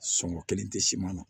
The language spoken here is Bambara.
Sɔngɔ kelen tɛ siman na